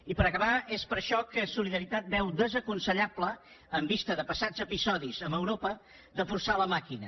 i per acabar és per això que solidaritat veu desaconsellable en vista de passats episodis amb europa de forçar la màquina